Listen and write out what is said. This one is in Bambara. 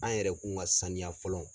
An yɛrɛkun ka saniya fɔlɔ.